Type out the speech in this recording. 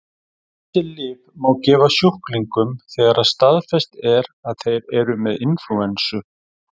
Þessi lyf má gefa sjúklingum þegar staðfest er að þeir eru með inflúensu.